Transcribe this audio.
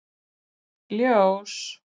Ljós